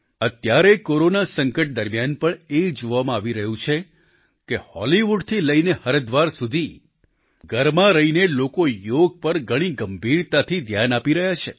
અત્યારે કોરોના સંકટ દરમિયાન પણ એ જોવામાં આવી રહ્યું છે કે હોલિવુડથી લઈને હરિદ્વાર સુધી ઘરમાં રહીને લોકો યોગ પર ઘણી ગંભીરતાથી ધ્યાન આપી રહ્યા છે